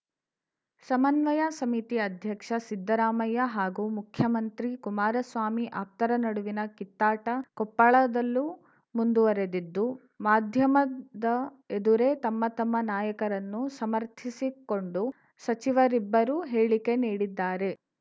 ಸಮನ್ವಯ ಸಮಿತಿ ಅಧ್ಯಕ್ಷ ಸಿದ್ದರಾಮಯ್ಯ ಹಾಗೂ ಮುಖ್ಯಮಂತ್ರಿ ಕುಮಾರಸ್ವಾಮಿ ಆಪ್ತರ ನಡುವಿನ ಕಿತ್ತಾಟ ಕೊಪ್ಪಳದಲ್ಲೂ ಮುಂದುವರೆದಿದ್ದು ಮಾಧ್ಯಮದ ಎದುರೇ ತಮ್ಮ ತಮ್ಮ ನಾಯಕರನ್ನು ಸಮರ್ಥಿಸಿಕೊಂಡು ಸಚಿವರಿಬ್ಬರು ಹೇಳಿಕೆ ನೀಡಿದ್ದಾರೆ